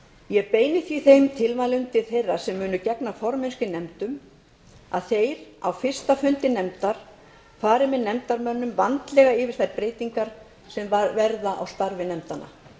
ég beini því þeim tilmælum til þeirra sem munu gegna formennsku í nefndum að þeir á fyrsta fundi nefndar fari með nefndarmönnum vandlega yfir þær breytingar sem verða í starfi nefndanna